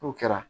N'o kɛra